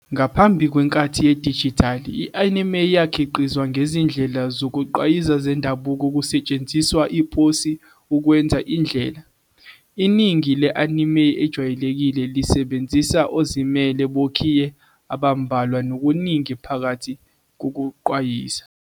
Ngaphambi kwenkathi yedijithali, i-anime yayikhiqizwa ngezindlela zokugqwayiza zendabuko kusetshenziswa iposi ukwenza indlela. Iningi le-anime ejwayelekile lisebenzisa ozimele bokhiye abambalwa nokuningi phakathi kokugqwayiza.